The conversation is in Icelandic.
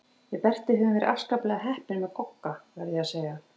Við Berti höfum verið afskaplega heppin með Gogga, verð ég að segja.